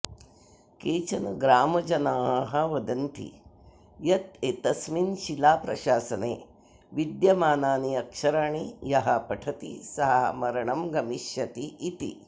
केचन ग्रामजनाः वदन्ति यत् एतस्मिन् शिलाप्रशासने विद्यमानानि अक्षराणि यः पठति सः मरणं गमिष्यति इति